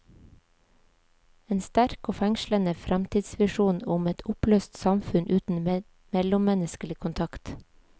En sterk og fengslende fremtidsvisjon om et oppløst samfunn uten mellommenneskelig kontakt.